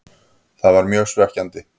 Það var mjög svekkjandi.